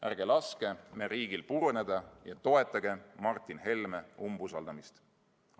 Ärge laske meie riigil puruneda ja toetage Martin Helme umbusaldamist!